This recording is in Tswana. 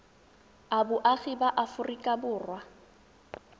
a boagi ba aforika borwa